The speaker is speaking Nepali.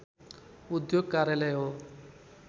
उद्योग कार्यालय हो